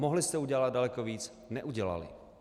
Mohli jste udělat daleko víc, neudělali.